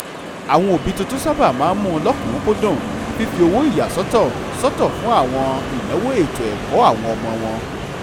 àwọn òbí tuntun sábà máa mú lọ́kùnkúndùn fifi àwọn owó ìyàsọ́tọ̀ sọ́tọ̀ fún àwọn ináwó ètò-ẹ̀kọ́ ọmọ wọn